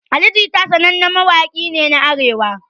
Ali jiya sanannen mawakin nena Arewa